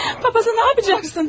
Papası nə edəcəksən?